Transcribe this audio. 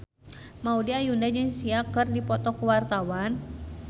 Maudy Ayunda jeung Sia keur dipoto ku wartawan